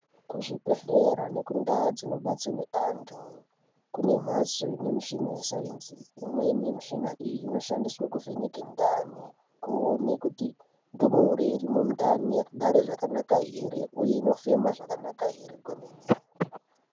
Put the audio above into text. Kuzvi bhedhlera nekundau dzino batsirwa antu kune mbatso ine mushina wesainzi imweni yemushina iyi ino shandiswa kuvheneke ndani kuona kuti ndumure irimo mundani yakagara zvakanaka here uye inofema zvakanaka here kwemene.